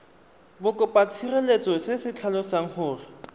bokopatshireletso se se tlhalosang gore